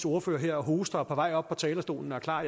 ordfører her og hoster og er på vej op på talerstolen og er klar